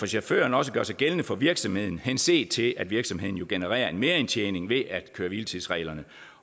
chaufførerne også gør sig gældende for virksomheden henset til at virksomheden genererer en merindtjening ved at køre hvile tids reglerne